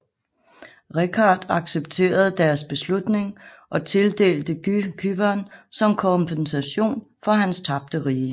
Richard accepterede deres beslutning og tildelte Guy Cypern som kompensation for hans tabte rige